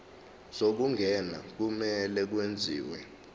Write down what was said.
zokungena kumele kwenziwe